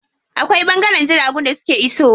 Akwai ɓangaren jiragun da suke iso wa.